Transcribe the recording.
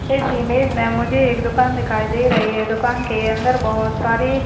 इस इमेज में मुझे एक दुकान दिखाई दे रही है। दुकान के अंदर बोहत सारी --